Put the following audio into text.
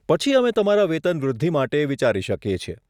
પછી અમે તમારા વેતન વૃદ્ધિ માટે વિચારી શકીએ છીએ.